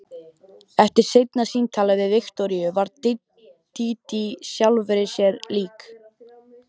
Eftir seinna símtalið við Viktoríu varð Dídí sjálfri sér lík.